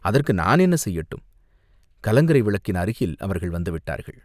அதற்கு நான் என்ன செய்யட்டும்!" கலங்கரை விளக்கின் அருகில் அவர்கள் வந்து விட்டார்கள்.